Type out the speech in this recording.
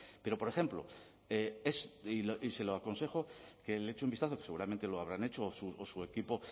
pero por ejemplo y se lo aconsejo que le eche un vistazo que seguramente lo habrán hecho o su equipo